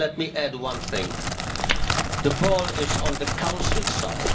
Let me add one more thing the ball is on the Council's side.